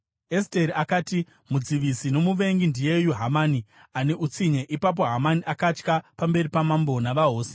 Esteri akati, “Mudzivisi nomuvengi ndiyeyu Hamani ane utsinye.” Ipapo Hamani akatya pamberi pamambo navahosi.